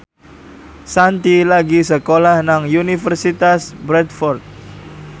Shanti lagi sekolah nang Universitas Bradford